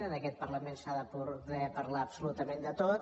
en aquest parlament s’ha de poder parlar absolutament de tot